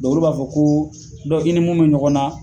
olu b'a fɔ ko i ni mun bɛ ɲɔgɔn na